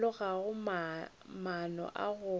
ba loga maano a go